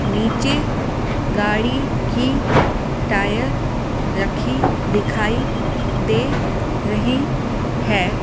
नीचे गाड़ी की टायर रखी दिखाई दे रही है ।